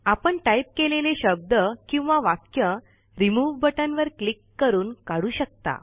आपण टाईप केलेले शब्द किंवा वाक्य रिमूव्ह बटन वर किल्क करून काढू शकता